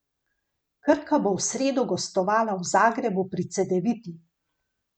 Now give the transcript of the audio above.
Krka bo v sredo gostovala v Zagrebu pri Cedeviti.